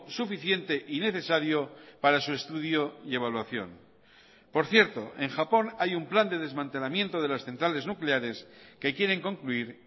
suficiente y necesario para su estudio y evaluación por cierto en japón hay un plan de desmantelamiento de las centrales nucleares que quieren concluir